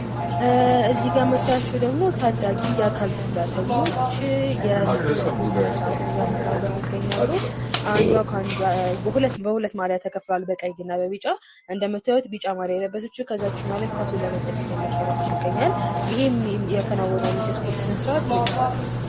እዚህጋ ምታይዋቸው ደሞ ታዳጊ የአካል ጉዳተኞች የስፖርት ስነስርዓትን እያከናወኑ ይገኝሉ አንዷ ከአንዷ በሁከት ማልያ ተከፍሏል በቀይ እና በብጫ እንደምታዩት ቢጫ ማልያ የለበሰችው ከዛችኛዋ ላይ ኳሱን ለመንጠቅ እየሞከረች ይገኛል ይሄም እያከናወኑ ያሉት የስፖርት ስነስርዓት ምን ይባላል?